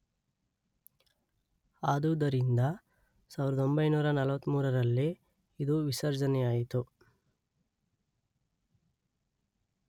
ಆದುದರಿಂದ ಸಾವಿರದೊಂಬೈನೂರ ನಲ್ವತ್ತಮೂರರಲ್ಲಿ ಇದು ವಿಸರ್ಜನೆಯಾಯಿತು.